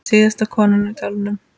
Síðasta konan í dalnum